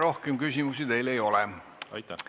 Rohkem küsimusi teile ei ole.